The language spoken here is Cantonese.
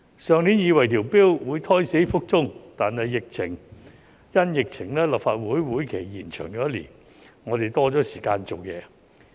上年我以為《條例草案》會胎死腹中，但立法會會期因疫情而延長1年，我們多了時間做事。